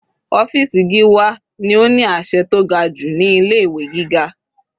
Ọ́fìsì Gíwá ni ó ní àṣẹ tó ga jù ní ilé ìwé gíga.